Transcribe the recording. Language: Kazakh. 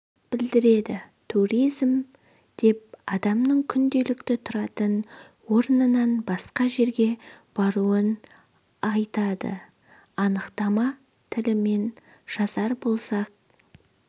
білдіреді туризм деп адамның күнделікті тұратын орнынан басқа жерге баруын айтады анықтама тілімен жазар болсақ